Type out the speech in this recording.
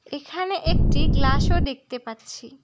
এখানে একটি গ্লাস -ও দেখতে পাচ্ছি।